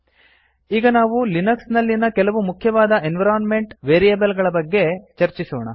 ಈಗ ನಾವು ಲಿನಕ್ಸ್ ನಲ್ಲಿನ ಕೆಲವು ಮುಖ್ಯವಾದ ಎನ್ವಿರೋನ್ಮೆಂಟ್ ವೇರಿಯೇಬಲ್ ಗಳ ಬಗ್ಗೆ ಚರ್ಚಿಸೋಣ